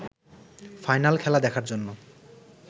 final খেলা দেখার জন্য